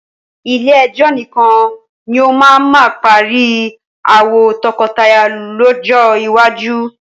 Ilé ẹjọ́ nìkan ni ó máa ma parí ááwọ̀ tọkọtaya lọ́jọ́ iwájú.